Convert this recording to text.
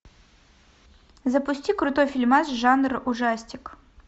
запусти крутой фильмас жанра ужастик